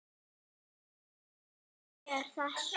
það sem af er þessu ári hefur tilfellunum fækkað enn